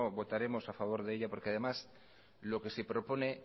votaremos a favor de ella porque además lo que se propone